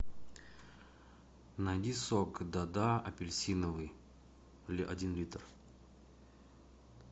найди сок да да апельсиновый один литр